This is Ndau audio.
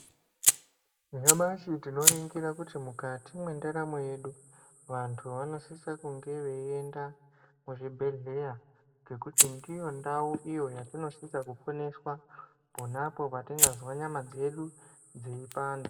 Nyamashi tinoringira kuti mukati mwendaramo yedu vantu vanosisa kunge veienda kuzvibhedhleya ngekuti ndiyo ndau iyo yatinosisa kuponeswa ponapo patinozwa nyama dzedu dzeipanda.